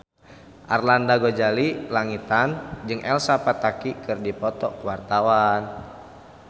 Arlanda Ghazali Langitan jeung Elsa Pataky keur dipoto ku wartawan